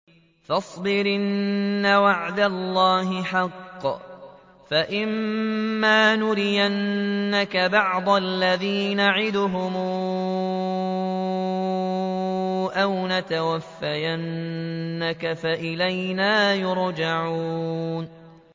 فَاصْبِرْ إِنَّ وَعْدَ اللَّهِ حَقٌّ ۚ فَإِمَّا نُرِيَنَّكَ بَعْضَ الَّذِي نَعِدُهُمْ أَوْ نَتَوَفَّيَنَّكَ فَإِلَيْنَا يُرْجَعُونَ